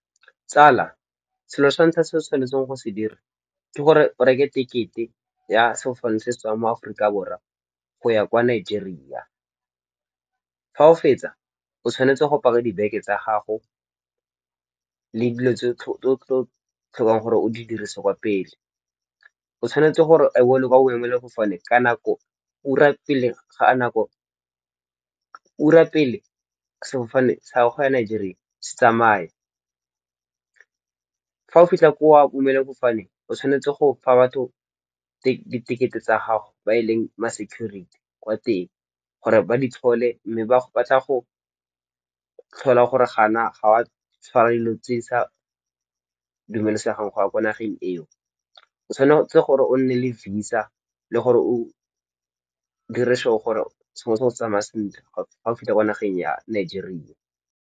Tsala, selo sa ntlha se o tshwanetseng go se dira ke gore o reke tekete ya sefofane se setswang mo aforika borwa go ya kwa Nigeria. Fa o fetsa o tshwanetse go paka dibeke tsa gago le dilo tse o tlo tlhokang gore o di dirise kwa pele. O tshwanetse gore o be o le kwa boemelasefofane ka nako ura pele sefofane sa go ya Nigeria se tsamaya. Fa o fitlha kwa boemelafofane o tshwanetse go fa batho di ticket-e tsa gago ba e leng ma security kwa teng gore ba di tlhole mme ba tla go tlhola gore ga na ga wa tshwara dilo tse di sa dumelesegang go ya ko nageng eo. O tshwanetse gore o nne le Visa le gore o dire sure gore sengwe le sengwese se tsamaya sentle fa o fitlha ko nageng ya Nigeria.